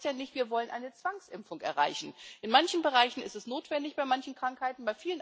Das heißt ja nicht, dass wir eine Zwangsimpfung erreichen wollen. In manchen Bereichen ist es notwendig, bei manchen Krankheiten.